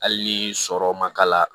Hali ni sɔrɔ ma k'a la